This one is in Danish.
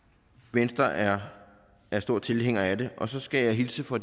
venstre er er stor tilhænger af det og så skal jeg hilse fra